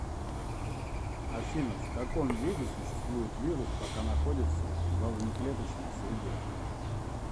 афина в каком виде существует вирус пока находится во внеклеточной среде